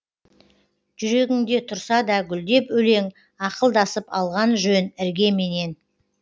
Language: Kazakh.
жүрегіңде тұрса да гүлдеп өлең ақылдасып алған жөн іргеменен